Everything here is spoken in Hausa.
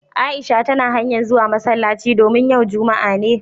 Aisha tana hanya'n zuwa masallaci domin yau Juma'a ne.